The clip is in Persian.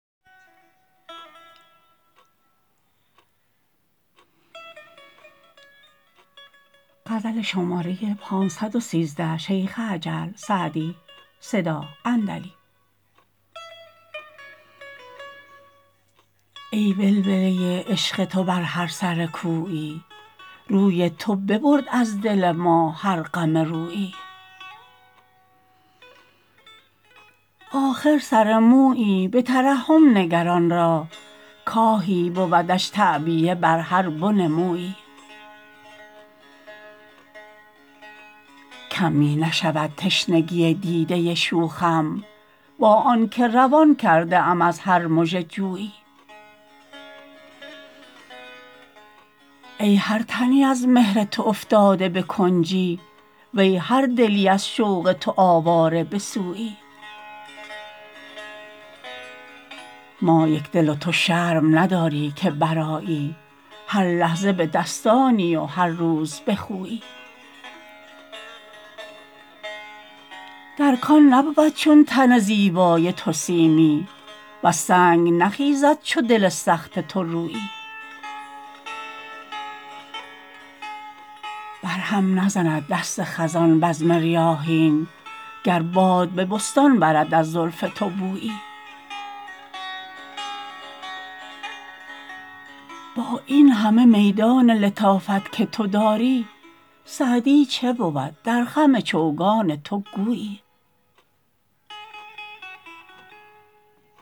ای ولوله عشق تو بر هر سر کویی روی تو ببرد از دل ما هر غم رویی آخر سر مویی به ترحم نگر آن را کآهی بودش تعبیه بر هر بن مویی کم می نشود تشنگی دیده شوخم با آن که روان کرده ام از هر مژه جویی ای هر تنی از مهر تو افتاده به کنجی وی هر دلی از شوق تو آواره به سویی ما یکدل و تو شرم نداری که برآیی هر لحظه به دستانی و هر روز به خویی در کان نبود چون تن زیبای تو سیمی وز سنگ نخیزد چو دل سخت تو رویی بر هم نزند دست خزان بزم ریاحین گر باد به بستان برد از زلف تو بویی با این همه میدان لطافت که تو داری سعدی چه بود در خم چوگان تو گویی